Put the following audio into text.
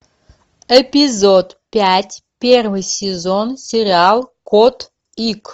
эпизод пять первый сезон сериал кот ик